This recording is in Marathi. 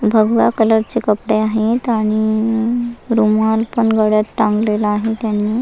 भगवा कलर ची कपडे आहेत आणि इ रुमाल पण गळ्यात टांगलेला आहे त्यांनी.